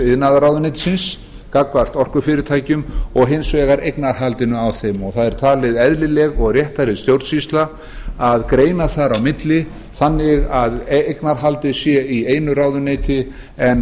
iðnaðarráðuneytisins gagnvart orkufyrirtækjum og hins vegar eignarhaldinu á þeim það er talin eðlileg og réttari stjórnsýsla að greina þar á milli þannig að eignarhaldið sé í einu ráðuneyti en